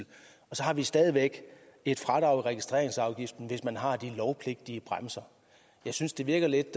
har vi stadig væk et fradrag i registreringsafgiften hvis man har de lovpligtige bremser jeg synes det virker lidt